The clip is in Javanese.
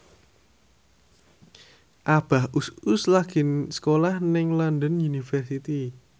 Abah Us Us lagi sekolah nang London University